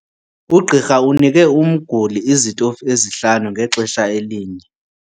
Ugqirha unike umguli izitofu ezihlanu ngexesha elinye.